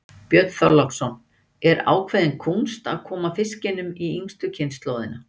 Björn Þorláksson: Er ákveðin kúnst að koma fiskinum í yngstu kynslóðina?